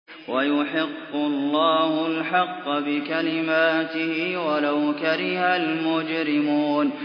وَيُحِقُّ اللَّهُ الْحَقَّ بِكَلِمَاتِهِ وَلَوْ كَرِهَ الْمُجْرِمُونَ